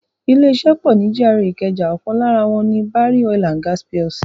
Ilé iṣẹ́ pọ ni GRA ìkẹjà, ọkan lára wọ́n ni Barry Oil and Gas Plc.